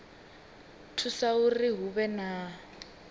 thusa uri hu vhe na